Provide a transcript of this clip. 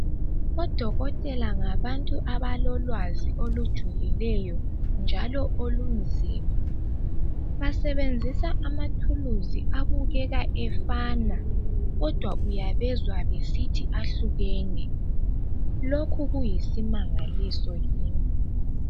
Odokotela ngabantu abalolwazi olujulileyo njalo olunzima. Basebenzisa amathuluzi abukeka efana kodwa uyabezwa besithi ahlukene. Lokhu kuyisimangaliso kimi.